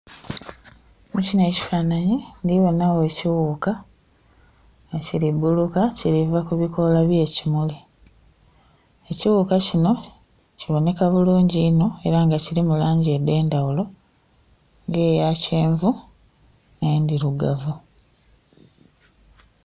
Mukinho ekifananhi ndhibonha gho ekighuka nga kili buuluka kiliva ku obukoola bye kimuli. Ekighuka kinho kibonheka bulungi inho era nga kilimu langi edhe ndhaghulo nga eya kyenvu nhe ndhirugavu.